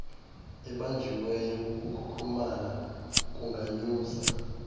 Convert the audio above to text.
ebanjiweyo ukukhukhumala kunganyusa